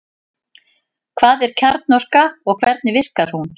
Hvað er kjarnorka og hvernig virkar hún?